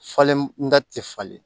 Falen n da te falen